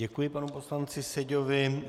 Děkuji panu poslanci Seďovi.